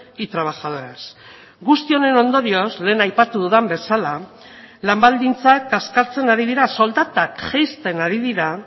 y trabajadoras guzti honen ondorioz lehen aipatu dudan bezala lan baldintzak kaskartzen ari dira soldatak jaisten ari dira